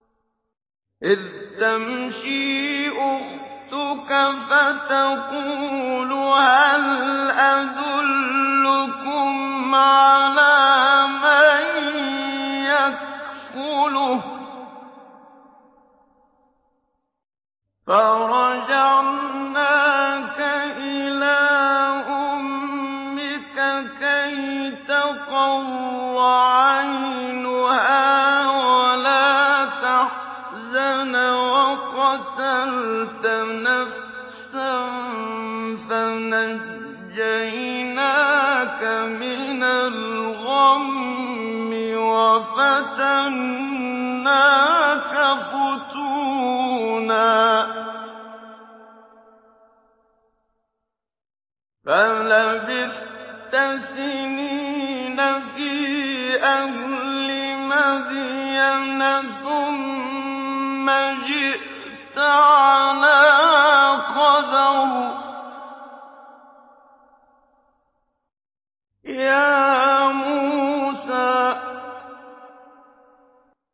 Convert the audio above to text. إِذْ تَمْشِي أُخْتُكَ فَتَقُولُ هَلْ أَدُلُّكُمْ عَلَىٰ مَن يَكْفُلُهُ ۖ فَرَجَعْنَاكَ إِلَىٰ أُمِّكَ كَيْ تَقَرَّ عَيْنُهَا وَلَا تَحْزَنَ ۚ وَقَتَلْتَ نَفْسًا فَنَجَّيْنَاكَ مِنَ الْغَمِّ وَفَتَنَّاكَ فُتُونًا ۚ فَلَبِثْتَ سِنِينَ فِي أَهْلِ مَدْيَنَ ثُمَّ جِئْتَ عَلَىٰ قَدَرٍ يَا مُوسَىٰ